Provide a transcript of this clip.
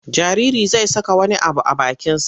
Jaririi zai saka wani abu a bakinsa.